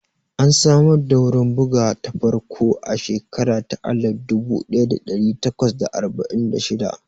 An samar da wurin bugawa ta farko a shekara ta alif dubu ɗaya da ɗari takwas da arba'in da shidda